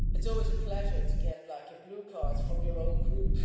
It is always a pleasure to get a blue card from your own Group.